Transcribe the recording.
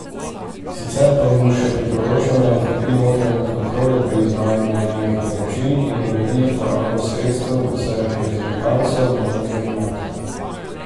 Sicer pa mu še priporoča, naj okrepi notranje kontrole pri izvajanju javnih naročil in uredi porabo sredstev za reprezentanco v notranjem aktu.